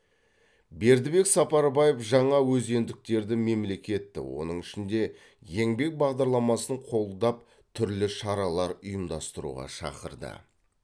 бердібек сапарбаев жаңаөзендіктерді мемлекетті оның ішінде еңбек бағдарламасын қолдап түрлі шаралар ұйымдастыруға шақырды